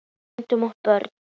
Edda, Högni og börn.